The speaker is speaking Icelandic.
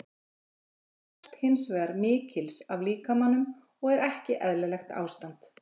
Þetta krefst hins vegar mikils af líkamanum og er ekki eðlilegt ástand.